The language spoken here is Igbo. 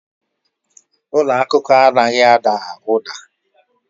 Ụlọ akụkọ anaghị ada ụda.